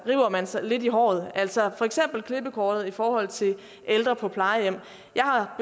lidt i håret altså for eksempel klippekortet i forhold til ældre på plejehjem jeg har